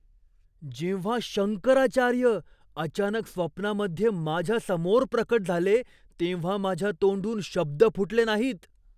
जेव्हा शंकराचार्य अचानक स्वप्नामध्ये माझ्यासमोर प्रकट झाले तेव्हा माझ्या तोंडून शब्द फुटले नाहीत.